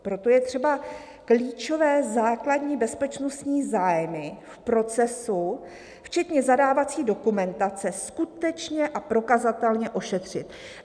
Proto je třeba klíčové základní bezpečnostní zájmy v procesu, včetně zadávací dokumentace, skutečně a prokazatelně ošetřit."